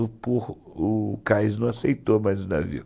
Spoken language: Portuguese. O cais não aceitou mais o navio.